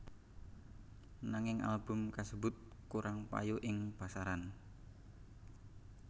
Nanging album kasebut kurang payu ing pasaran